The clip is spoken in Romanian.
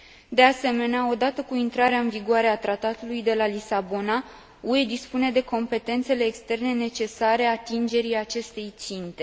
De asemenea, odată cu intrarea în vigoare a Tratatului de la Lisabona, UE dispune de competențele externe necesare atingerii acestei ținte.